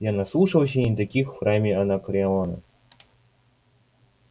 я наслушался и не таких в храме анакреона